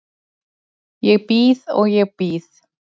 Ég bíð og ég bíð.